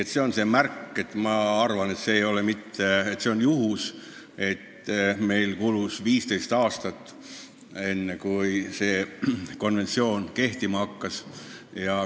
Ega see hea ei ole, et meil kulus 15 aastat, enne kui me selle konventsiooniga nüüd ühineme.